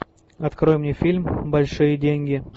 открой мне фильм большие деньги